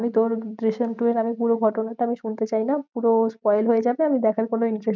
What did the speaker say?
আমি তোর জিসিম টু এর আমি পুরো ঘটনাটা আমি শুনতে চাইনা, পুরো spoil হয়ে যাবে, আমি দেখার কোনো interest